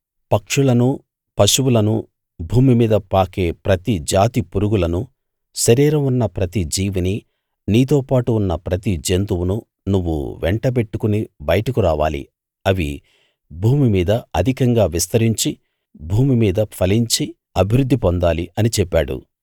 పక్షులను పశువులను భూమి మీద పాకే ప్రతి జాతి పురుగులను శరీరం ఉన్న ప్రతి జీవినీ నీతోపాటు ఉన్న ప్రతి జంతువును నువ్వు వెంటబెట్టుకుని బయటకు రావాలి అవి భూమిమీద అధికంగా విస్తరించి భూమి మీద ఫలించి అభివృద్ధి పొందాలి అని చెప్పాడు